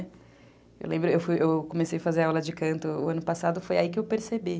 Eu lembro, eu fui, eu comecei a fazer aula de canto o ano passado, foi aí que eu percebi.